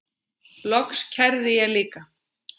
Loks kærði ég líka.